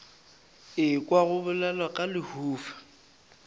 ekwa go bolelwa ka lehufa